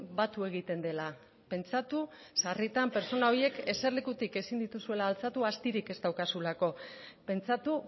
batu egiten dela pentsatu sarritan pertsona horiek eserlekutik ezin dituzuela altxatu astirik ez daukazulako pentsatu